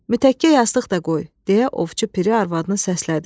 Mütəkkə yastıq da qoy, deyə Ovçu Piri arvadını səslədi.